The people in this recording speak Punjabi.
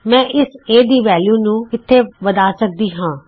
ਮੈਂ ਇਸ A ਦੀ ਵੈਲਯੂ ਨੂੰ ਇਥੇ ਵੱਧਾ ਸਕਦੀ ਹਾਂ